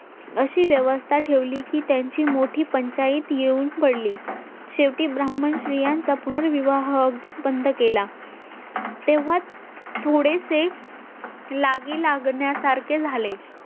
अशी व्यवस्था ठेवली की त्यांची मोठी पंचायत येऊन पडली शेवटी ब्राह्मण स्त्रियांचा पुनर्विवाह अगदीच बंद केला तेव्हा थोडेसे लागी लागण्या सारखे झाले